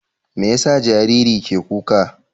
Me ya sa jariri ke kuka?